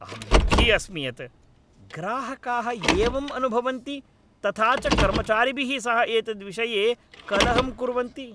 अहं दुःखी अस्मि यत् ग्राहकाः एवम् अनुभवन्ति तथा च कर्मचारिभिः सह एतद्विषये कलहं कुर्वन्ति।